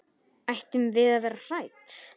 Ættum við að vera hrædd?